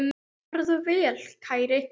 Farðu vel, kæri.